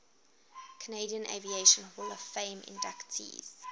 canadian aviation hall of fame inductees